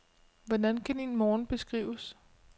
Hvordan kan din morgen beskrives?